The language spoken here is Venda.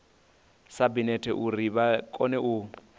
sabinete uri vha kone u